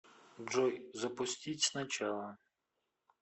джой запустить сначала